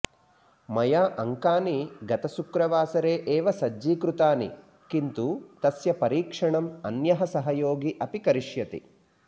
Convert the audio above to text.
मया अङ्कानि गतशुक्रवासरे एव सज्जीकृतानि किन्तु तस्य परीक्षणम् अन्यः सहयोगी अपि करिष्यति